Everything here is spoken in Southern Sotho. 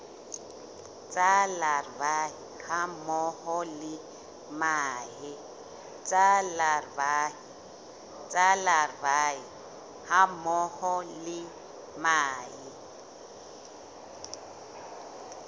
tsa larvae hammoho le mahe